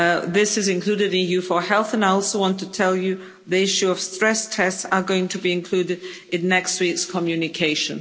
This is included in EU4Health, and I also want to tell you that the issue of stress tests are going to be included in next week's communication.